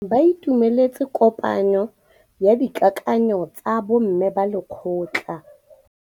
Ba itumeletse kôpanyo ya dikakanyô tsa bo mme ba lekgotla.